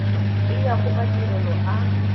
e ya go madirelo a